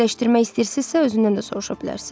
Dəqiqləşdirmək istəyirsizsə özündən də soruşa bilərsiz.